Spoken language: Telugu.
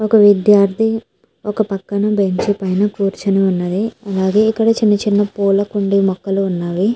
ఒక విద్యార్ధి పక్కన బెంచ్ పై కూర్చుని ఉన్నది. అలాగే ఇక్కడ చిన్న చిన్న పూల కుండి మొక్కలు ఉన్నవి.